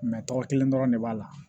tɔgɔ kelen dɔrɔn de b'a la